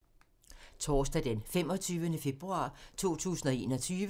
Torsdag d. 25. februar 2021